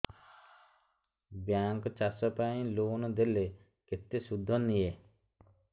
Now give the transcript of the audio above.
bank ଚାଷ ପାଇଁ loan ଦେଲେ କେତେ ସୁଧ ନିଏ